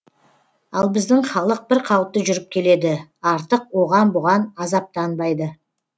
ал біздің халық бір қалыпты жүріп келеді артық оған бұған азаптанбайды